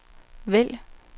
vælg